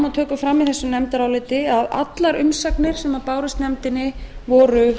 við tökum fram í þessu nefndaráliti að allar umsagnir sem bárust nefndinni voru